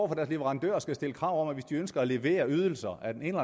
deres leverandører skal stille krav om at hvis de ønsker at levere ydelser af den ene